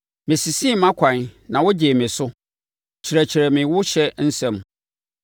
Mesesee mʼakwan na wogyee me so; kyerɛkyerɛ me wo ɔhyɛ nsɛm.